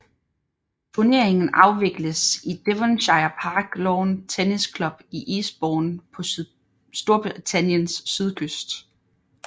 Turneringen afvikles i Devonshire Park Lawn Tennis Club i Eastbourne på Storbritanniens sydkyst